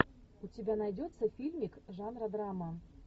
у тебя найдется фильмик жанра драма